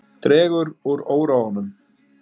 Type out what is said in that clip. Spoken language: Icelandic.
Dregur úr óróanum